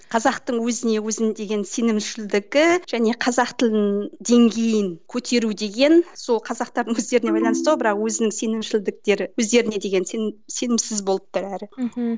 қазақтың өзіне өзін деген сенімшілдігі және қазақ тілін деңгейін көтеру деген сол қазақтардың өздеріне байланысты ғой бірақ өзін сенімшілдіктері өздеріне деген сенім сенімсіз болып тұр әрі мхм